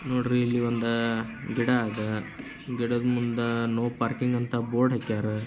ನೋಡ್ರಿ ಇಲ್ಲಿ ಒಂದು ಗಿಡ ಅದಾ ಗಿಡ ಮುಂದ ನೋ ಪಾರ್ಕಿಂಗ್ ಬೋರ್ಡ್ ಅದಾ.